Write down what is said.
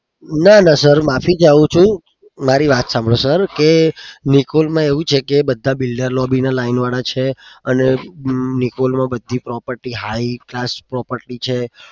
ના ના sir માફી ચાહું છું. મારી વાત સાંભળો sir કે નિકોલ માં એવું છે કે બધા builder lobby ના line વાળા છે અને નિકોલમાં બધી property બધી high task property છે.